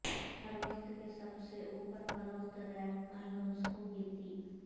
ہر وقت کے سب سے اوپر فروخت ریپ البمز کو گنتی